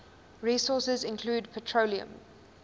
resources include petroleum